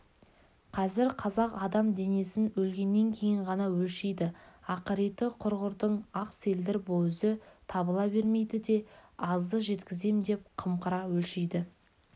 қазір қазақ адам денесін өлгеннен кейін ғана өлшейді ақыреті құрғырдың ақ селдір бөзі табыла бермейді де азды жеткізем деп қымқыра өлшейді